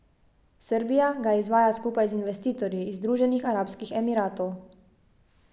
Srbija ga izvaja skupaj z investitorji iz Združenih arabskih emiratov.